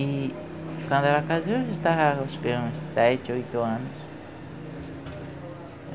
E quando ela casou, eu já estava com uns sete, oito anos.